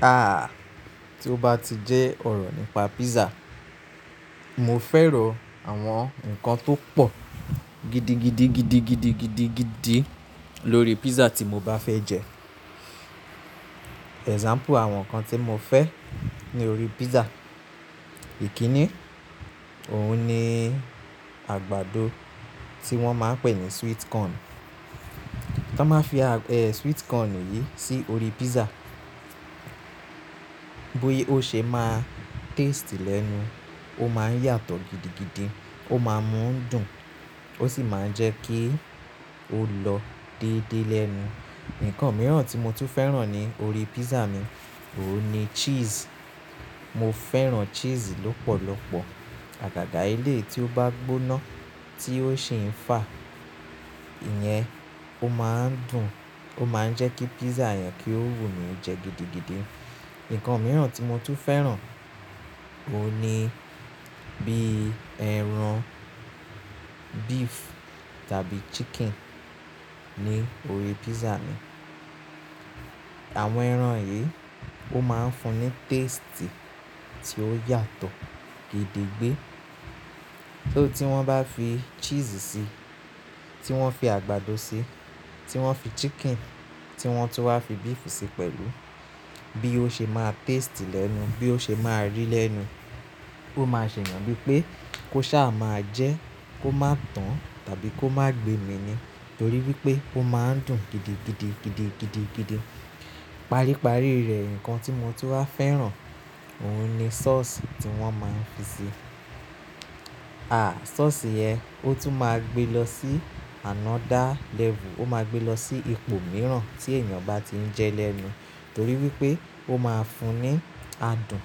Ah! Tí ó bá ti jẹ́ ọ̀rọ̀ nípa pizza, mo fẹ́ràn àwọn nǹkan tó pọ̀ gidigidigidigidigidi lórí pizza tí mo bá fẹ jẹ. Example àwọn nǹkan tí mo fẹ́ ní orí pizza, ìkíni, òun ni àgbàdo tí wọ́n máa ń pè ní sweet corn. Tí wọ́n bá fi sweet corn yìí sí orí pizza, bó ṣe máa taste lẹ́nu, ó máa ń yàtọ̀ gidigidi, ó máa ń dùn, ó sì máa ń jẹ́ kí ó lọ déédéé lẹ́nu. Nǹkan mìíràn tí mo tún fẹ́ràn ní orí pizza mi, òun ni cheese. Mo fẹ́ràn cheese lọ́pọ̀lọpọ̀. Àgàgà eleyi tí ó bá gbóná tí ó sì ń fà, ìyẹn ó máa ń dùn, ó máa ń jẹ́ kí pizza yẹn kí ó wù mí jẹ gidigidi. Nǹkan mìíràn tí mo tún fẹ́ràn, òun ni bí ẹran beef tàbí chicken ní orí pizza mi. Àwọn ẹran yìí ó máa ń fún ní taste tí ó yàtọ̀ gidigbé. Ti wọ́n bá fi cheese sí i, tí wọ́n fi àgbàdo sí i, tí wọ́n fi chicken, tí wọ́n tún wá fi beef síi pẹ̀lú, bí ó ṣe máa taste lẹ́nu, bí ó ṣe máa rí lẹ́nu, ó máa ṣe yàn wí pé kó ṣá máa jẹ́ kó má tán tàbí kó má gbe mi ni. Torí wípé ó máa ń dùn gidigidigidigidigidi. Paríparí rẹ̀, ǹkan tí mo tún wá fẹ́ràn, òun ni sauce tí wọ́n máa ń fi sí i. Ah! Sauce yẹn ó tún máa gbé e lọ sí another level. Ó máa gbé e lọ sí ipò mìíràn tí ènìyàn bá ti ń jẹ́ lẹ́nu. Torí wípé ó máa ń fún ní adùn.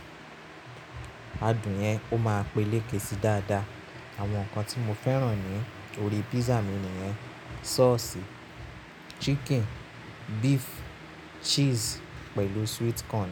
Adùn yẹn ó máa ń peleke sí dáadáa. Àwọn nǹkan tí mo fẹ́ràn ní orí pizza mi nìyẹn sauce, chicken, beef, cheese pẹ̀lú sweet corn.